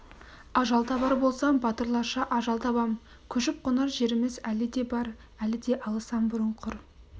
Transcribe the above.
ажал табар болсам батырларша ажал табам көшіп-қонар жеріміз әлі де бар әлі де алысам бұрын құр